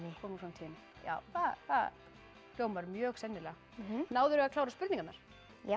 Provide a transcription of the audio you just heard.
komu úr framtíðinni það hljómar mjög sennilega náðirðu að klára spurningarnar já